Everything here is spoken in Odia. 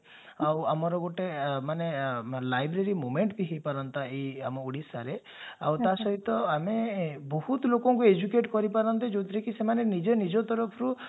ଆଉ ଆମର ଗୋଟେ ମାନେ library movement ବି ହେଇପାରନ୍ତା ଏଇ ଆମ ଓଡିଶାରେ ଆଉ ତ ସହିତ ଆମେ ବୋହୁତ ଲୋକଙ୍କୁ educate କରିପାରନ୍ତେ ଯାଉଥିରେ କି ସେମାନେ ନିଜେ ନିଜ ତରଫରୁ